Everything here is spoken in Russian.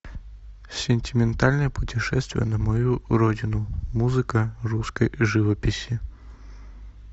сентиментальное путешествие на мою родину музыка русской живописи